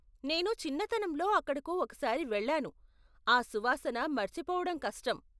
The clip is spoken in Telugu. నేను చిన్నతనంలో అక్కడకు ఒకసారి వెళ్ళాను, ఆ సువాసన మర్చిపోవడం కష్టం.